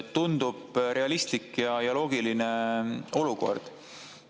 Tundub realistlik ja loogiline olukord.